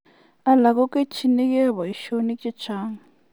Alak kokichinikei boishonik chechang.